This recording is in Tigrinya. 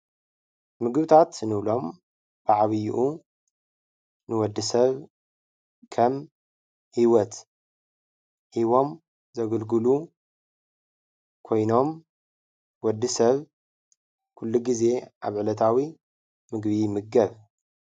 ምግብታት እንብሎም ብዓብይኡ ንወዲሰብ ከም ሂወት ሂቦም ዘገልግሉ ኮይኖም ወዲሰብ ኩሉ ግዜ ኣብ ዕለታዊ ምግቢ ይምገብ።